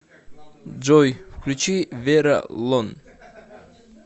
джой включи вера лон